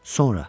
Sonra.